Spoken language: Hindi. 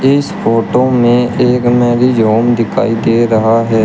इस फोटो में एक मैरिज होम दिखाई दे रहा है।